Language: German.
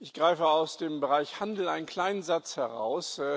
Ich greife aus dem Bereich Handel einen kleinen Satz heraus.